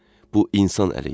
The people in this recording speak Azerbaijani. Bu insan əli idi.